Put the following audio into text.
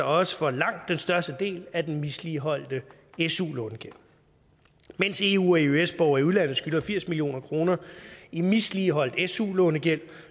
også for langt den største del af den misligholdte su lånegæld mens eu eøs borgere i udlandet skylder firs million kroner i misligholdt su lånegæld